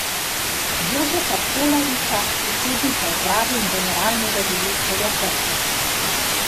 Jožeta Colariča, predsednika uprave in generalnega direktorja Krke.